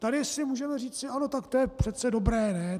Tady si můžeme říci: Ano, tak to je přece dobré, ne?